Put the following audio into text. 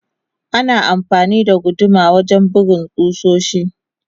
Ana amfani da guduma wajen bugun kusoshi.